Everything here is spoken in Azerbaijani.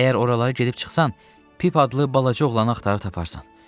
Əgər oraları gedib çıxsan, Pip adlı balaca oğlanı axtarıb taparsan.